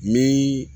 Min